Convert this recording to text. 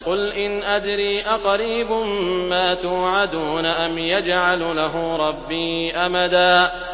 قُلْ إِنْ أَدْرِي أَقَرِيبٌ مَّا تُوعَدُونَ أَمْ يَجْعَلُ لَهُ رَبِّي أَمَدًا